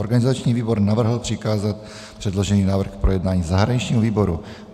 Organizační výbor navrhl přikázat předložený návrh k projednání zahraničnímu výboru.